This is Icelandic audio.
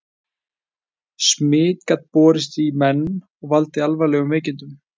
smit gat borist í menn og valdið alvarlegum veikindum